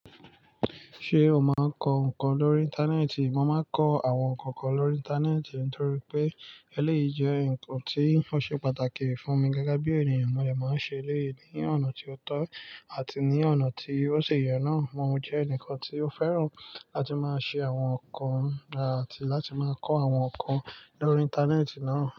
See o máa ń kọ ǹkan lórí Íńtánẹ́ẹ̀tì? Mo máa ń kọ àwọn ǹkan kan lórí Íńtánẹ́ẹ̀tì nítorí pé eléyìí jẹ́ ǹkan tí ó ṣe pàtàkì fún mi gẹ́gẹ́ bí ènìyàn. Mo lè máa ń ṣe eléyìí ní ọ̀nà tí ó tọ́ àti ní ọ̀nà tí ó ṣe yẹ náà. Mo jẹ́ ẹnìkan tí ó fẹ́ràn láti máa ṣe àwọn ǹkan àti láti máa kọ àwọn ǹkan lórí Íńtánẹ́ẹ̀tì náà.